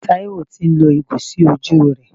Taiwo tì ń lo ìgò sí ojú rẹ.